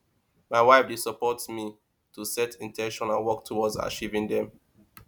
my wife dey support me to set in ten tions and work towards achieving dem